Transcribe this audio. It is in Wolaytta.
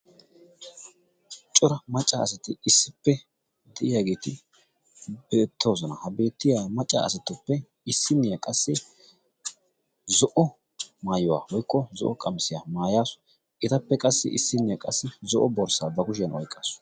Cora macca asati issippe de'iyaageeti beettoosona. ha beettiya macca asatuppe issinniyaa qassi zo'o maayuwaa woykko zo'o qamisiyaa maayaasu etappe qassi issinniyaa qassi zo'o borssaa ba kushiyan oyqqaasu.